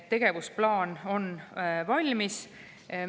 Tegevusplaan on valmis.